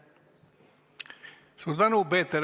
Suur tänu!